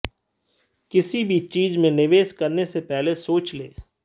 किसी भी चीज़ में निवेश करने से पहले सोच लें